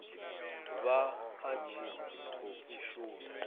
vha a tshi khou shuma